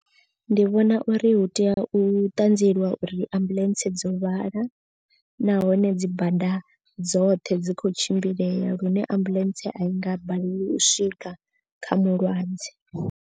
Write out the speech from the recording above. Ndi vhona uri hu tea u ṱanzieliwa uri ambuḽentse dzo lwala. Nahone dzi bada dzoṱhe dzi khou tshimbilea lune ambuḽentse a i nga balelwi u swika kha mulwadze.